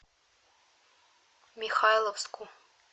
михайловску